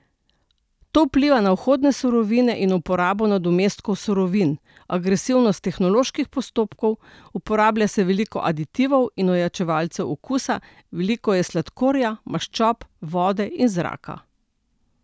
To vpliva na vhodne surovine in uporabo nadomestkov surovin, agresivnost tehnoloških postopkov, uporablja se veliko aditivov in ojačevalcev okusa, veliko je sladkorja, maščob, vode in zraka.